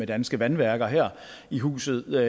danske vandværker her i huset